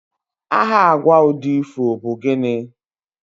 aha agwa udi ifo bu gini?